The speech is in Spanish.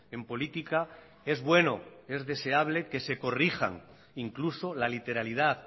en política es bueno es deseable que se corrijan incluso la literalidad